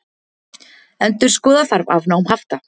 Endurskoða þarf afnám hafta